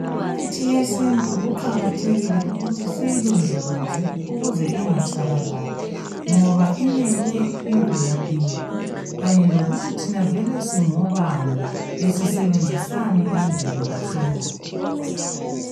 Imithi yesintu kuqakathekile ukuthi siyilondoloze ukuze ingatsha balali ngoba imele imvelaphi yethu kanye lokuthi thina vele singobani besisebenzisani endulo kahle kahle.